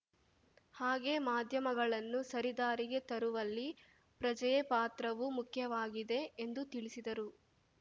ಹಾಗೇ ಮಾಧ್ಯಮಗಳನ್ನು ಸರಿದಾರಿಗೆ ತರುವಲ್ಲಿ ಪ್ರಜೆಯ ಪಾತ್ರವೂ ಮುಖ್ಯವಾಗಿದೆ ಎಂದು ತಿಳಿಸಿದರು